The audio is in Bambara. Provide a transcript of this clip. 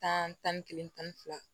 Tan tan ni kelen tan ni fila